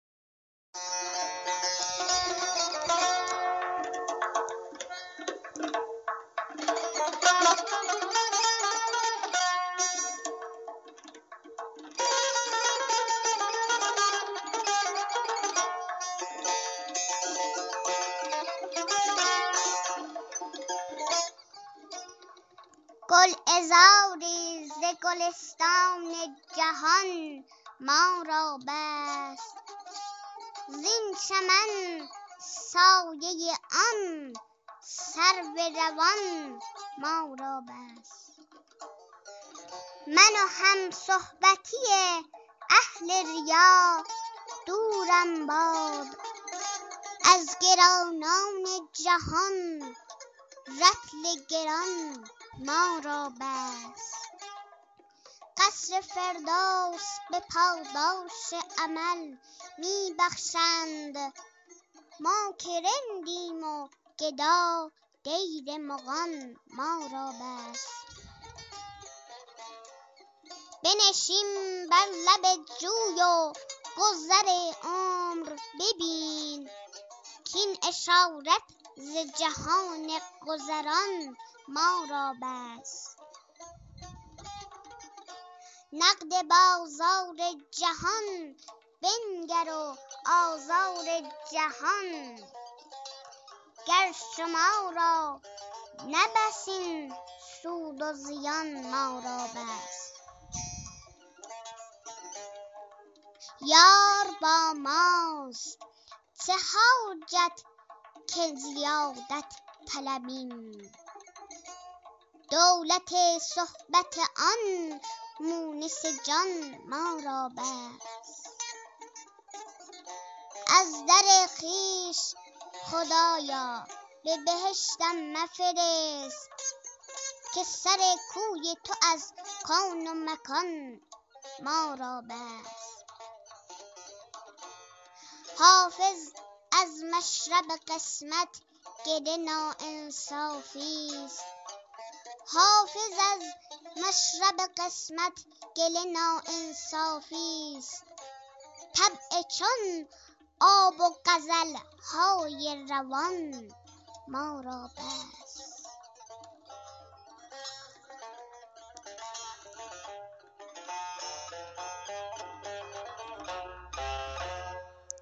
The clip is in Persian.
گلعذاری ز گلستان جهان ما را بس زین چمن سایه آن سرو روان ما را بس من و همصحبتی اهل ریا دورم باد از گرانان جهان رطل گران ما را بس قصر فردوس به پاداش عمل می بخشند ما که رندیم و گدا دیر مغان ما را بس بنشین بر لب جوی و گذر عمر ببین کاین اشارت ز جهان گذران ما را بس نقد بازار جهان بنگر و آزار جهان گر شما را نه بس این سود و زیان ما را بس یار با ماست چه حاجت که زیادت طلبیم دولت صحبت آن مونس جان ما را بس از در خویش خدا را به بهشتم مفرست که سر کوی تو از کون و مکان ما را بس حافظ از مشرب قسمت گله ناانصافیست طبع چون آب و غزل های روان ما را بس